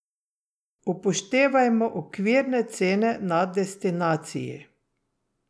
Upoštevajmo okvirne cene na destinaciji.